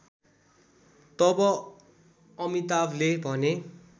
तब अमिताभले भने